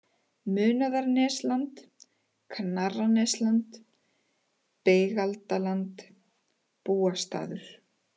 Munaðarnesland, Knarrarnesland, Beigaldaland, Búastaður